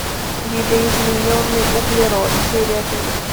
видоизмененный углерод серия три